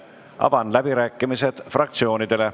Avan läbirääkimised fraktsioonidele.